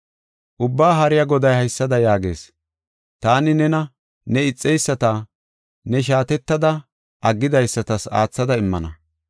Ubbaa Haariya Goday haysada yaagees: “Taani nena ne ixeyisata, ne shaatettada aggidaysatas aathada immana.